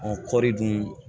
Ɔ kɔɔri dun